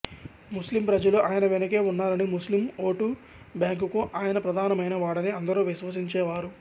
ముస్లిం ప్రజలు ఆయన వెనుకే ఉన్నారని ముస్లిం ఓటు బ్యాంకుకు ఆయన ప్రధానమైన వాడని అందరూ విశ్వసించేవారు